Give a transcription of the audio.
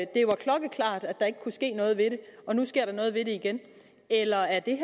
der ikke kunne ske noget ved det og nu sker der noget ved det igen eller er det